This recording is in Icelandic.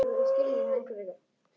Milla var eins og lítið barn.